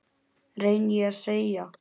reyni ég að segja.